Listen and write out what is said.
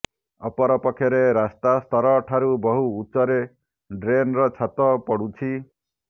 ଅପରପକ୍ଷରେ ରାସ୍ତା ସ୍ତର ଠାରୁ ବହୁ ଉଚ୍ଚରେ ଡ଼୍ରେନର ଛାତ ପଡ଼ୁଛି